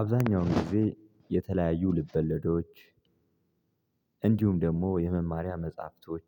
አብዛኛውን ጊዜ የተለያዩ ልብወለዶች እንዲሁም ደግሞ የመማሪያ መጽሐፍቶች